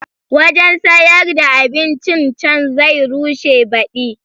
Wajen sayar da abincin can zai rushe baɗi